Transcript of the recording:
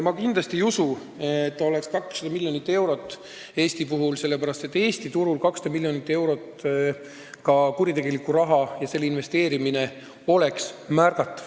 Ma kindlasti ei usu, et see oleks Eestis 200 miljonit eurot, sest Eesti turul oleks 200 miljonit eurot kuritegelikku raha ja selle investeerimine märgatav.